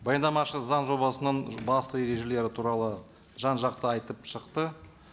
баяндамашы заң жобасының басты ережелері туралы жан жақты айтып шықты